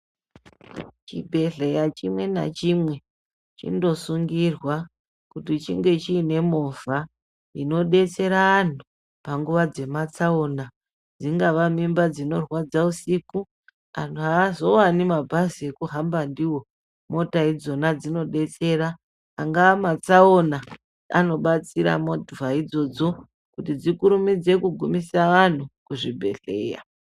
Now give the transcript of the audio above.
Chibhledhlera chimwe nachimwe chinosungirwa kuti chinge chiine movha inodetsera vantu panguva dzematsaona dzingava mimba dzinorwadza usiku vantu havazowani mabhazi ekuhamba ndiwo mota idzona dzinodetsera angava matsaona anobatsira movha idzodzo kuti dzikurumidze kugumise vantu kuzvibhedhlera.